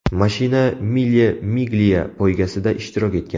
Mashina Mille Miglia poygasida ishtirok etgan.